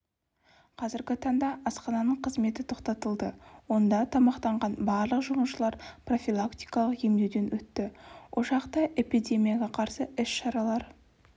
қазіргі таңда асхананың қызметі тоқтатылды онда тамақтанған барлық жұмысшылар профилактикалық емдеуден өтті ошақта эпидемияға қарсы іс-шаралар